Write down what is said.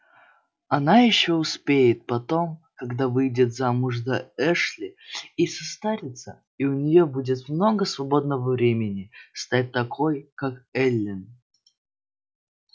она ещё успеет потом когда выйдет замуж за эшли и состарится и у неё будет много свободного времени стать такой как эллин